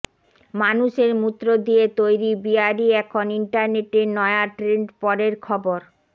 মানুষের মূত্র দিয়ে তৈরি বিয়ারই এখন ইন্টারনেটের নয়া ট্রেন্ড পরের খবর